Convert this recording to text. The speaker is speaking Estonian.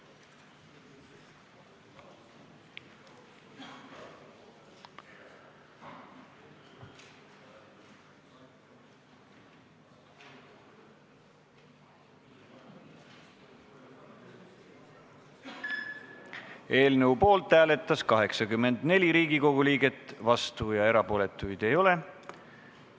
Hääletustulemused Eelnõu poolt hääletas 84 Riigikogu liiget, vastuolijaid ega erapooletuid ei ole.